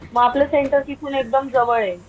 मग आपलं सेंटर तिथून एकदम जवळे.